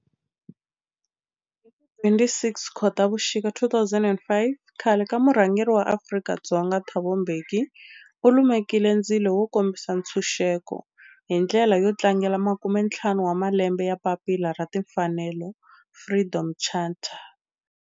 Hi ti 26 Khotavuxika 2005 khale ka murhangeri wa Afrika-Dzonga Thabo Mbeki u lumekile ndzilo wo kombisa ntshuxeko, hi ndlela yo tlangela makumentlhanu wa malembe ya papila ra timfanelo, Freedom Charter.